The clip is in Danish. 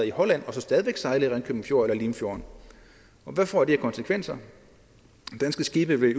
i holland og så stadig væk sejlede i ringkøbing fjord eller i limfjorden hvad får det af konsekvenser danske skibe vil